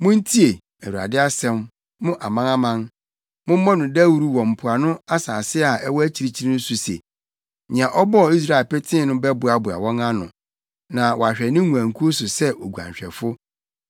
“Muntie Awurade asɛm, mo amanaman; mommɔ no dawuru wɔ mpoano nsase a ɛwɔ akyirikyiri so se, ‘Nea ɔbɔɔ Israel petee no bɛboaboa wɔn ano na wahwɛ ne nguankuw so sɛ oguanhwɛfo.’